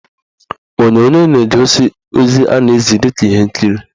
Onyonyo na-egosi ozi a na-ezi dịka ihe nkiri.